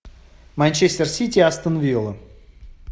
манчестер сити астон вилла